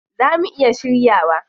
Zaa mu iya shiryawa?